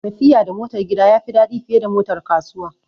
Tafiya da motar gida ya fi daɗi fiye da motar kasuwa